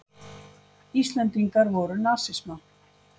Íslendingar voru nasisma.